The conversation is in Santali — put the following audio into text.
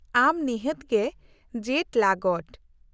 -ᱟᱢ ᱱᱤᱦᱟᱹᱛ ᱜᱮ ᱡᱮᱴᱼᱞᱟᱜᱚᱰ ᱾